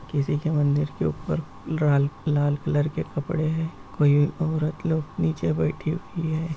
किसी के मंदिर के ऊपर लाल लाल कलर के कपड़े हैं। कोई औरत लोग नीचे बैठी हुई है।